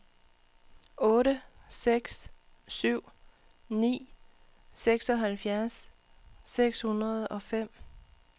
otte seks syv ni seksoghalvfjerds seks hundrede og fem